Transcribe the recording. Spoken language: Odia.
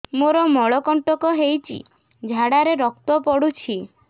ମୋରୋ ମଳକଣ୍ଟକ ହେଇଚି ଝାଡ଼ାରେ ରକ୍ତ ପଡୁଛି